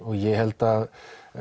ég held að